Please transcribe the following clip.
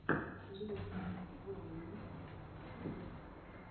лил вэйн вево